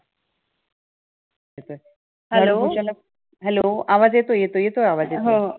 Hello Hello येतो, येतो, आवाज येतोय.